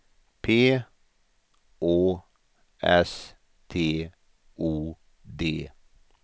P Å S T O D